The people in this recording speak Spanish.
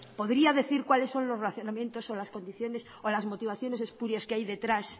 podría decir cuáles son los razonamientos o las condiciones o las motivaciones espurias que hay detrás